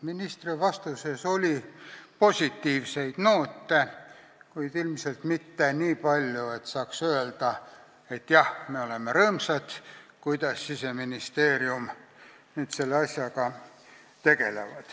Ministri vastuses oli positiivseid noote, kuid ilmselt mitte nii palju, et saaks öelda, jah, me oleme rõõmsad selle üle, kuidas Siseministeerium selle asjaga tegeleb.